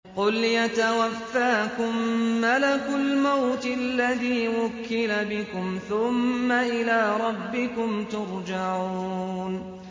۞ قُلْ يَتَوَفَّاكُم مَّلَكُ الْمَوْتِ الَّذِي وُكِّلَ بِكُمْ ثُمَّ إِلَىٰ رَبِّكُمْ تُرْجَعُونَ